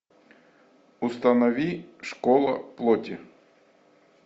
установи школа плоти